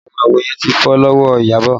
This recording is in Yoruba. Àwọn àwo yẹn ti fọ́ lọ́wọ́ Iyabọ̀